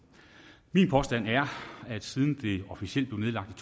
min påstand er at det siden det officielt blev nedlagt